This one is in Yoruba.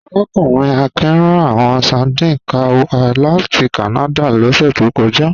Arákùnrin Akin rán àwọn sardines kan wá láti Kánádà lọ́sẹ̀ tó kọjá